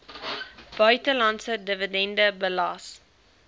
buitelandse dividende belas